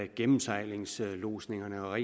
gennemsejlingslodsningerne og